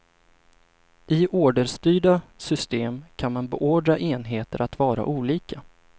I orderstyrda system kan man beordra enheter att vara olika.